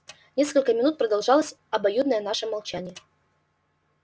несколько минут продолжалось обоюдное наше молчание